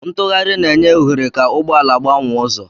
Ntugharị na-enye ohere ka ụgbọ ala gbanwee ụzọ.